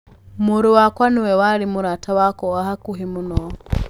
Mũrũ wakwa nĩwe warĩ mũrata wakwa wa hakuhĩ mũno".